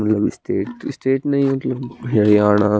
love straight straight नही होकी हरयाणा--